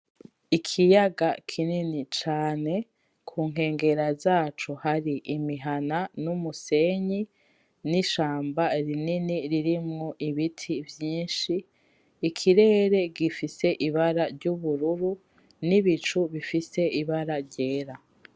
Ikiyaga kinini cane ku nkengera zaco hari imihana n'umusenyi, n'ishamba rinini ririmwo ibiti vyinshi, ikirere gifise ibara ry'ubururu, n'ibicu bifise ibara ryera.